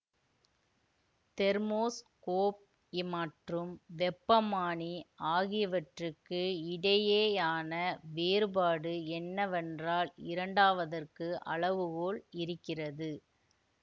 thermoscope இமற்றும் வெப்பமானி ஆகியவற்றுக்கு இடையேயான வேறுபாடு என்னவென்றால் இரண்டாவதற்கு அளவுகோல் இருக்கிறது